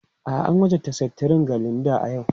A'a, an wajabta seftirin ga Linda a yau.